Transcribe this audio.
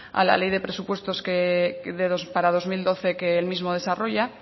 a la ley de presupuestos para dos mil doce que el mismo desarrolla